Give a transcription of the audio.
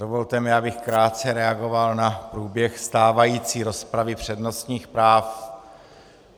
Dovolte mi, abych krátce reagoval na průběh stávající rozpravy přednostních práv.